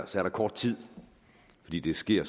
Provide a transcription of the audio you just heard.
der er kort tid fordi det sker